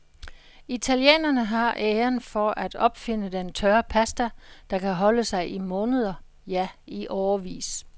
Italienerne har æren for at opfinde den tørre pasta, der kan holde sig i måneder, ja i årevis.